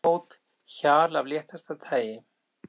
Smáglettni, vinahót, hjal af léttasta tagi.